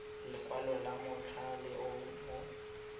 lekwalo la mothale o mo